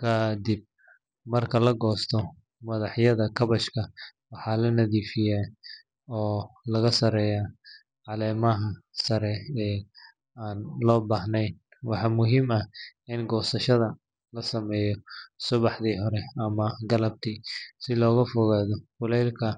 Ka dib marka la goosto, madaxyada kaabashka waxaa la nadiifiyaa oo laga saaraa caleemaha sare ee aan loo baahnayn. Waxaa muhiim ah in goosashada la sameeyo subaxda hore ama galabtii si looga fogaado kuleylka